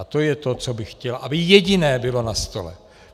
A to je to, co bych chtěl, aby jediné bylo na stole.